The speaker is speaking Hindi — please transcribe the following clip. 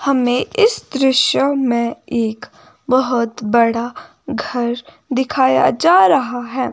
हमें इस दृश्य में एक बहोत बड़ा घर दिखाया जा रहा है।